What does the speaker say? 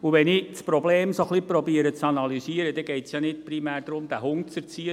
Wenn ich das Problem ein wenig zu analysieren versuche, geht es ja nicht primär darum, diesen Hund zu erziehen.